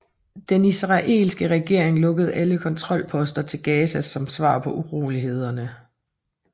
Den israelske regering lukkede alle kontrolposter til Gaza som svar på urolighederne